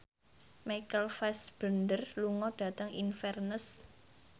Michael Fassbender lunga dhateng Inverness